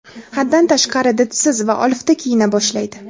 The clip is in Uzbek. haddan tashqari didsiz va olifta kiyina boshlaydi.